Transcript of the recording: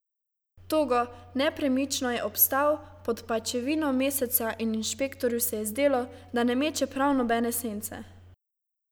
Togo, nepremično je obstal pod pajčevino meseca in inšpektorju se je zdelo, da ne meče prav nobene sence.